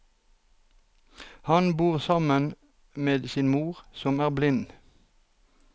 Han bor sammen med sin mor, som er blind.